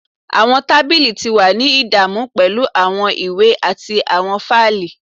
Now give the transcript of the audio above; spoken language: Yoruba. Awọn tabili ti wa ni idamu pẹlu awọn iwe ati awọn faili.